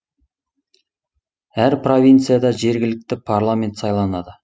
әр провинцияда жергілікті парламент сайланады